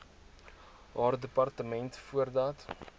haar departement voordat